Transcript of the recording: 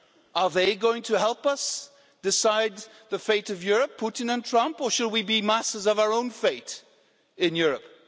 Are they going to help us decide the fate of Europe, Putin and Trump, or should we be masters of our own fate in Europe?